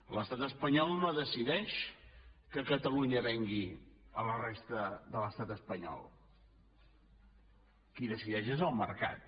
l’estat espanyol no decideix que catalunya vengui a la resta de l’estat espanyol qui decideix és el mercat